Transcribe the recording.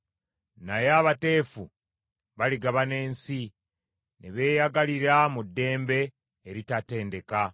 Naye abateefu baligabana ensi ne beeyagalira mu ddembe eritatendeka.